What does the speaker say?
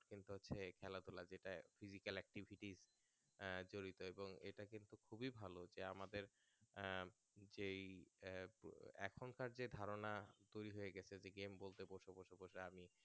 এই খেলাধুলা যেটা physical activities আহ জড়িত এবং এটা কিন্তু খুবই ভালো যে আমাদের আহ যেই এখনকার যে ধারণা তৈরী হয়ে গেছে যে game বলতে বসো বসো আমি